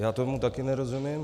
Já tomu taky nerozumím.